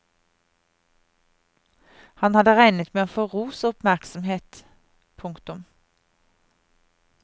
Han hadde regnet med å få ros og oppmerksomhet. punktum